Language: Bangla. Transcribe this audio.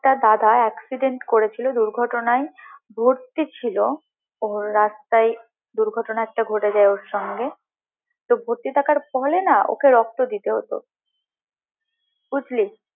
একটা দাদা accident করেছিলো দুর্ঘটনায় ভর্তি ছিল ওর রাস্তায় একটা দুর্ঘটনা ঘটে যায় ওর সাথে তো ভর্তি থাকার ফলে না ওকে রক্ত দিতে হতো বুঝলি